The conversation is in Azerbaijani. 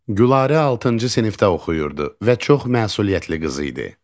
Gülarə altıncı sinifdə oxuyurdu və çox məsuliyyətli qız idi.